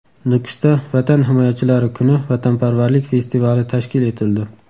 Nukusda Vatan himoyachilari kuni vatanparvarlik festivali tashkil etildi.